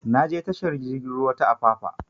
Na je tashar jigin ruwa ta apapa